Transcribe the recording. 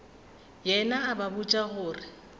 yena a ba botša gore